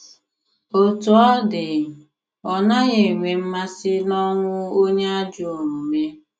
Otú ọ dị ,Ọ naghi enwe mmasi n'onwụ onye ajọ omume